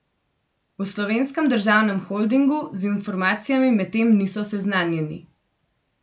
V Slovenskem državnem holdingu z informacijami medtem niso seznanjeni.